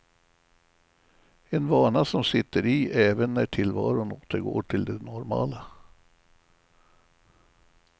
En vana som sitter i även när tillvaron återgår till det normala.